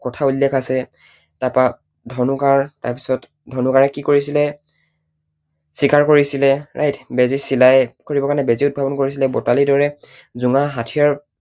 কথা উল্লেখ আছে, তাৰপৰা ধনু কাঁড়, তাৰপিছত ধনু কাঁড়েৰে কি কৰিছিলে? চিকাৰ কৰিছিলে, right? বেজী চিলাই কৰিব কাৰণে বেজী উদ্ভাৱন কৰিছিলে, বতালীৰ দৰে জোঙা হাথিয়াৰ